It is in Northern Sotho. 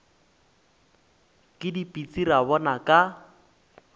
ke dipitsi ra bona ka